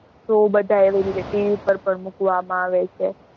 show બધાં એવી રીતે TV પર પર મૂકવામાં આવે છે.